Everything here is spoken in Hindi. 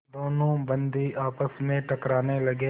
दोनों बंदी आपस में टकराने लगे